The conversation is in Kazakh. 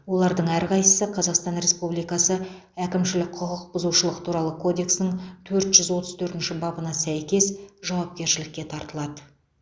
олардың әрқайсысы қазақстан республикасы әкімшілік құқық бұзушылық туралы кодексінің төрт жүз отыз төртінші бабына сәйкес жауапкершілікке тартылады